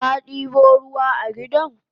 Kadibo ruwa a gidan?